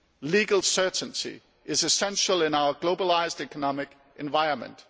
Legal certainty is essential in our globalised economic environment.